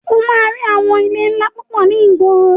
O máa rí àwọn ilé ńlá púpọ̀ ní ìgboro.